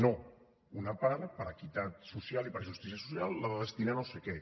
no una part per equitat social i per justícia social l’ha de destinar a no sé què